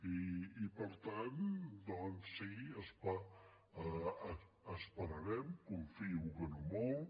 i per tant doncs sí esperarem confio que no molt